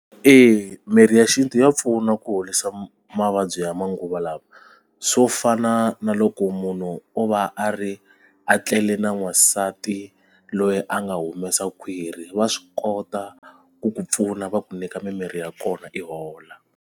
Eya, mirhi ya xintu ya pfuna ku horisa mavabyi ya manguva lawa swo fana na loko munhu o va a ri a tlele na n'wansati loyi a nga humesa khwiri va swi kota ku ku pfuna va ku nyika mimirhi ya kona i hola.